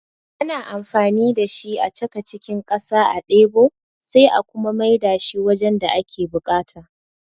Ana amfani da shi a chaka cikin ƙasa a ɗebo sai a kuma mai da shi wajen da ake buƙata